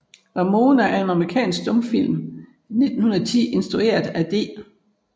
Ramona er en amerikansk stumfilm fra 1910 instrueret af D